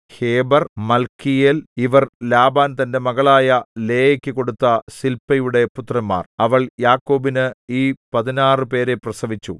ഹേബെർ മൽക്കീയേൽ ഇവർ ലാബാൻ തന്റെ മകളായ ലേയാക്കു കൊടുത്ത സില്പായുടെ പുത്രന്മാർ അവൾ യാക്കോബിന് ഈ പതിനാറു പേരെ പ്രസവിച്ചു